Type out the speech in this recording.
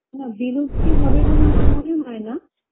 না বিলুপ্তি হবে বলে আমার মনে হয় না